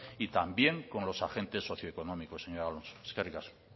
y también con los agentes socioeconómicos señor alonso eskerrik asko